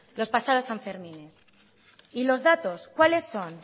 las pasadas sanfermines y los datos cuáles son